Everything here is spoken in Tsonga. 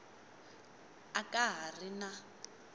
a ka ha ri na